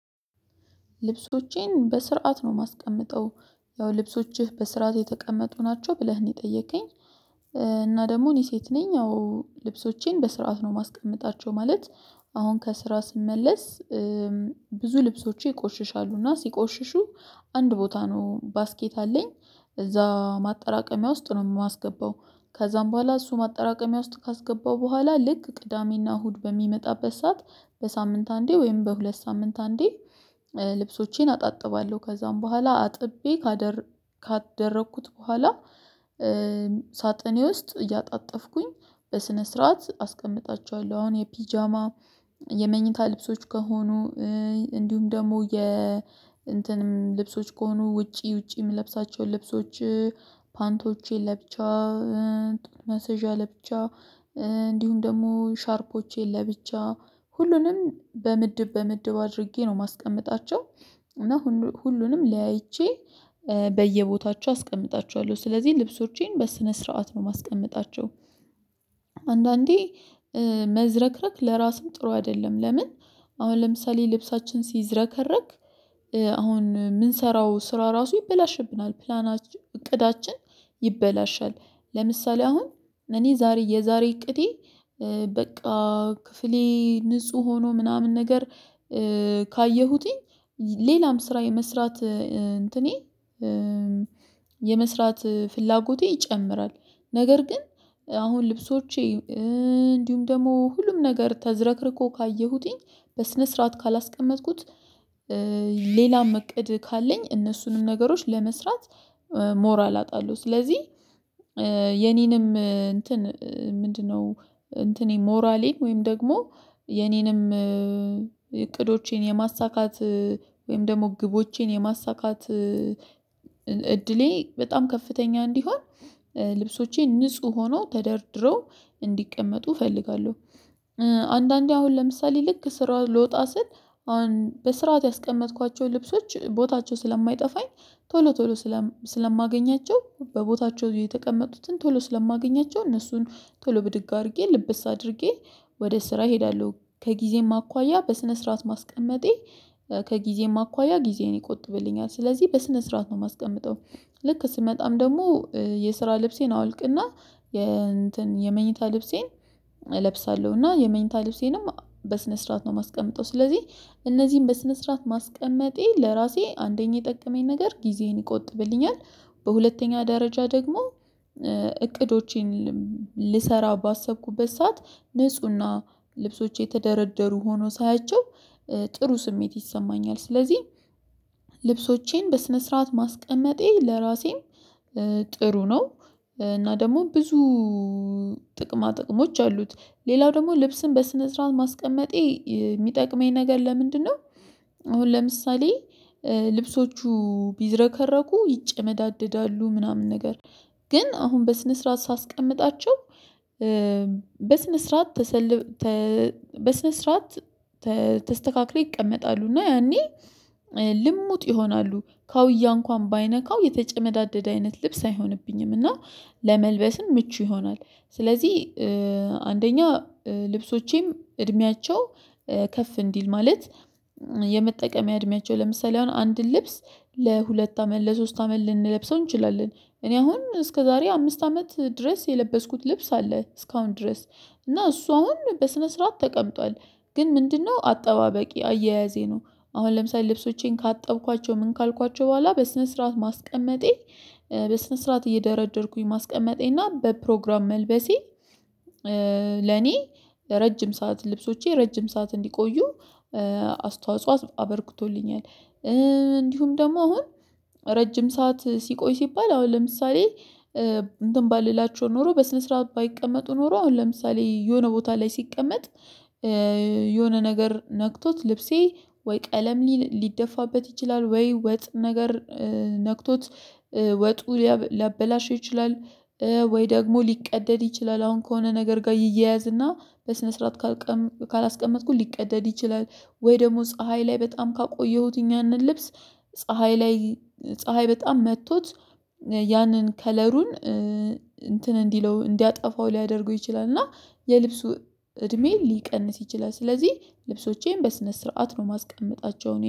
ልብሶቼን በስርዓት ነው የማስቀምጠው ያው ልብሶችህ በስርዓት የተቀመጡ ናቸው ብለህ ነው የጠየቀኝ። እና ደግሞ እኔ ሴት ነኝ አዎ ልብሶቼን በስርዓት ነው ማስቀመጣቸው ማለት። አሁን ከስራ ስመለስ። ብዙ ልብሶች ይቆሽሻሉ እና ሲቆሽሹ አንድ ቦታ ነው ባስኬት አለኝ እዛ ማጠራቀሚያ ውስጥ ነው የማስገባው። ከዛም በኋላ እሱ ማጠራቀሚያ ውስጥ ካስገባው በኋላ ልክ ቅዳሜና እሁድ በሚመጣበት ሰዓት በሳምንት አንዴ ወይም በሁለት ሳምንት አንዴ። ልብሶቼን አጣጥባለሁ ከዛም በኋላ አጥቤ ካደረኩት በኋላ ሳጥኔ ውስጥ እያጣጠፍኩኝ በስነ ስርዓት አስቀምጣቸዋለሁ። አሁን የፒጃማ የመኝታ ልብሶች ከሆኑ እንዲሁም ደግሞ የ እንትንም ልብሶች ከሆኑ ውጪ ውጪ የምለብሳቸው የምለብሳቸውን ልብሶች ፓንቶቼን ለብቻ ጡት ማስያዣየን ለብቻ እንዲሁም ደግሞ ሻርፖቼን ለብቻ ሁሉንም በምድብ በምድብ አድርጌ ነው የማስቀምጣቸው። እና ሁሉንም ለያይቼ በየቦታቸው አስቀምጣቸዋለሁ ስለዚህ ልብሶቼን በስነ ስርዓት ነው ማስቀመጣቸው። አንዳንዴ መዝረክረክ ለራሱ ጥሩ አይደለም። ለምን? አሁን ለምሳሌ ልብሳችን ሲዝረከረክ አሁን የምንሰራው ስራ ራሱ ይበላሽብናል ፕላናችን እቅዳችን ይበላሻል። ለምሳሌ አሁን እኔ ዛሬ የዛሬ እቅዴ በቃ ክፍሌ ንጹህ ሆኖ ምናምን ነገር ካየሁትኝ ስራ የመስራት እንትኔ የመስራት ፍላጎቴ ይጨምራል። ነገር ግን አሁን ልብሶቼ እንዲሁም ደግሞ ሁሉም ነገር ተዘረክርኮ ካየሁትኝ በስነ ስርዓት ካላስቀመጥኩት ሌላም እቅድ ካለኝ እነሱንም ነገሮች ለመስራት ሞራል አጣሉ። ስለዚህ የኔንም እንትን ምንድነው? እንትኔ ሞራሌ ወይም ደግሞ የኔንም እቅዶቼን የማሳካት ወይም ደግሞ ግቦቼን የማሳካት እድሌ በጣም ከፍተኛ እንዲሆን ልብሶቼ ንጹህ ሆኖ ተደርድረው እንዲቀመጡ እፈልጋለሁ። አንዳንዴ አሁን ለምሳሌ ልክ ስራ ልወጣ ስል አሁን በስርዓት ያስቀመጥኳቸው ልብሶች ቦታቸው ስለማይጠፋኝ ቶሎ ቶሎ ስለማገኛቸው በቦታቸው የተቀመጡትን ቶሎ ስለማገኛቸው እነሱን ቶሎ ብድግ አድርጌ ልብስ አድርጌ ወደ ስራ እሄዳለሁ። ከጊዜም አኳያ በስነ ስርዓት ማስቀመጤ ከጊዜም አኳያ ጊዜን ይቆጥብልኛል ስለዚህ በስነ ስርዓት ነው የማስቀምጠው። ልክ ስመጣም ደግሞ የስራ ልብሴን አውልቅና የእንትን የመኝታ ልብሴን እለብሳለሁ እና የመኝታ ልብሴንም በስነ ስርዓት ነው የማስቀምጠው። ስለዚህ እነዚህን በስነ ስርዓት ማስቀመጤ ለራሴ አንደኛ የጠቀመኝ ነገር ጊዜዬን ይቆጥብልኛል። በሁለተኛ ደረጃ ደግሞ እቅዶቼን ልሰራ ባሰብኩበት ሰዓት ንፁህና ልብሶች የተደረደሩ ሆኖ ሳያቸው ጥሩ ስሜት ይሰማኛል። ስለዚህ ልብሶቼን በስነ ስርዓት ማስቀመጤ ለራሴም ጥሩ ነው። እና ደግሞ ብዙ ጥቅማ ጥቅሞች አሉት። ሌላው ደግሞ ልብስን በስነ ስርዓት ማስቀመጤ የሚጠቅመኝ ነገር ለምንድነው? አሁን ለምሳሌ ልብሶቹ ቢዝረከረኩ ይጨመዳደዳሉ ምናምን ነገር ግን አሁን በስነ ስርዓት ሳስቀምጣቸው በስነ ስርዓት ተሰልፈው በስነ ስርዓት ተስተካክለው ይቀመጣሉ። እና ያኔ ልሙጥ ይሆናሉ ከውያ እንኳን ባይነካው የተጨመዳደደ አይነት ልብስ አይሆንብኝም እና ለመልበስም ምቹ ይሆናል። ስለዚህ አንደኛ ልብሶቼም እድሜያቸው ከፍ እንዲል ማለት የመጠቀም እድሜያቸው ለምሳሌ አንድን ልብስ ለሁለት አመት ለሶስት አመት ልንለብሰው እንችላለን። እኔ አሁን እስከዛሬ አምስት አመት ድረስ የለበስኩት ልብስ አለ እስካሁን ድረስ እና እሷን በስነ ስርዓት ተቀምጧል። ግን ምንድነው አጠባበቂ አያያዜ ነው። አሁን ለምሳሌ ልብሶቼን ካጠብኳቸው ምን ካልኳቸው በኋላ በስነ ስርዓት ማስቀመጤ በስነ ስርዓት እየደረደርኩኝ ማስቀመጤ እና በፕሮግራም መልበሴ። ለኔ ለረጅም ሰዓት ልብሶቼ ረጅም ሰዓት እንዲቆዩ አስተዋጽኦ አበርክቶልኛል። እንዲሁም ደግሞ አሁን ረጅም ሰዓት ሲቆይ ሲባል አሁን ለምሳሌ እንትን ባልላቸው ኖሮ በስነ ስርዓት ባይቀመጡ ኖሮ አሁን ለምሳሌ የሆነ ቦታ ላይ ሲቀመጥ የሆነ ነገር ነክቶት ልብሴ ወይ ቀለም ሊደፋበት ይችላል ወይ ወጥ ነገር ነክቶት ወጡ ሊያበላሸው ይችላል። ወይ ደግሞ ሊቀደድ ይችላል አሁን ከሆነ ነገር ጋር ይያያዝና በስነ ስርዓት ካላስቀመጥኩ ሊቀደድ ይችላል። ወይ ደግሞ ፀሀይ ላይ በጣም ካቆየሁት እኛንን ልብስ ፀሀይ ላይ ፀሀይ በጣም መጥቶት ያንን ከለሩን እንትን እንዲለው እንዲያጠፋው ሊያደርገው ይችላል እና የልብሱ እድሜ ሊቀንስ ይችላል። ስለዚህ ልብሶቼን በስነ ስርዓት ነው ማስቀመጣቸውን